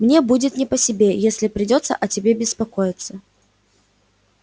мне будет не по себе если придётся о тебе беспокоиться